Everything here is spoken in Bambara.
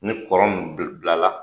Ne kɔrɔ min bila bila la